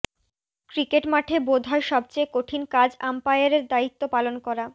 cricket মাঠে বোধ হয় সবচেয়ে কঠিন কাজ আম্পায়ারের দায়িত্ব পালন করা